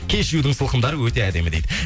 кешьюдің сылқымдары өте әдемі дейді